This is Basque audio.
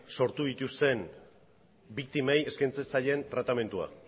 sortu dituzten biktimei eskaintzen zaien tratamendua